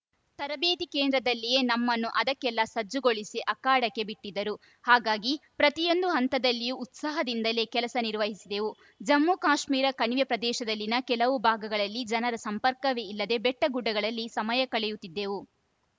ತರಬೇತಿ ಕೇಂದ್ರದಲ್ಲಿಯೇ ನಮ್ಮನ್ನು ಅದಕ್ಕೆಲ್ಲ ಸಜ್ಜುಗೊಳಿಸಿ ಅಖಾಡಕ್ಕೆ ಬಿಟ್ಟಿದ್ದರು ಹಾಗಾಗಿ ಪ್ರತಿಯೊಂದು ಹಂತದಲ್ಲಿಯೂ ಉತ್ಸಾಹದಿಂದಲೇ ಕೆಲಸ ನಿರ್ವಹಿಸಿದೆವು ಜಮ್ಮುಕಾಶ್ಮೀರ ಕಣಿವೆ ಪ್ರದೇಶದಲ್ಲಿನ ಕೆಲವು ಭಾಗಗಳಲ್ಲಿ ಜನರ ಸಂಪರ್ಕವೇ ಇಲ್ಲದೆ ಬೆಟ್ಟಗುಡ್ಡಗಳಲ್ಲಿ ಸಮಯ ಕಳೆಯುತ್ತಿದ್ದೆವು